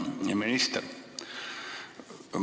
Hea minister!